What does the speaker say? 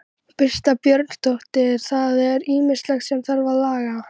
Birta Björnsdóttir: Það er ýmislegt sem þarf að laga?